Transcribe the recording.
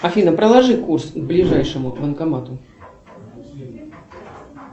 афина проложи курс к ближайшему банкомату